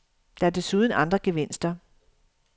Der er desuden andre gevinster.